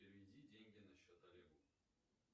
переведи деньги на счет олегу